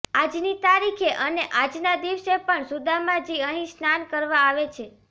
આજ ની તારીખે અને આજ ના દિવસે પણ સુદામાજી અહી સ્નાન કરવા આવે છે